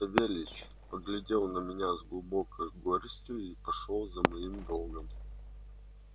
савельич поглядел на меня с глубокой горестью и пошёл за моим долгом